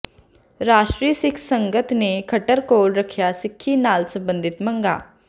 ਰਾਸ਼ਟਰੀ ਸਿੱਖ ਸੰਗਤ ਨੇ ਖੱਟਰ ਕੋਲ ਰੱਖੀਆਂ ਸਿੱਖੀ ਨਾਲ ਸਬੰਧਿਤ ਮੰਗਾਂ